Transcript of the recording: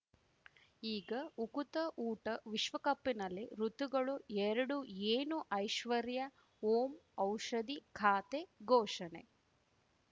ಈಗ ಉಕುತ ಊಟ ವಿಶ್ವಕಪ್‌ನಲ್ಲಿ ಋತುಗಳು ಎರಡು ಏನು ಐಶ್ವರ್ಯಾ ಓಂ ಔಷಧಿ ಖಾತೆ ಘೋಷಣೆ